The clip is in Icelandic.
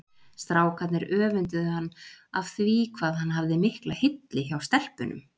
Strákarnir öfunduðu hann af því hvað hann hafði mikla hylli hjá stelpunum.